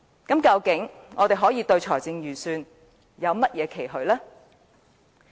究竟我們對預算案還能有甚麼期許？